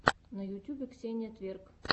на ютьюбе ксения тверк